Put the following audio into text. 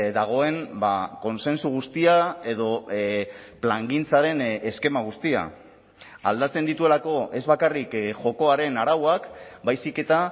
dagoen kontsensu guztia edo plangintzaren eskema guztia aldatzen dituelako ez bakarrik jokoaren arauak baizik eta